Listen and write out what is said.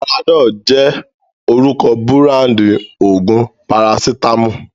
Panadol jẹ́ orúkọ búráńdì òògùn parasítámọ̀.